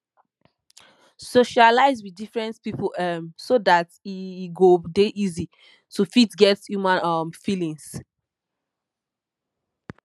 socialize with different pipo um so dat e e go dey easy to fit get human um feelings